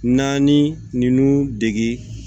Naani ninnu dege